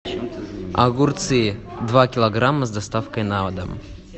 огурцы два килограмма с доставкой на дом